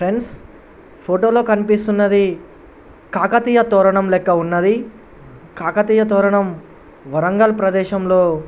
Friends photo లో కనిపిస్తున్నది కాకతీయ తోరణం లెక్క ఉన్నది. కాకతీయ తోరణం వరంగల్ ప్రదేశం లో --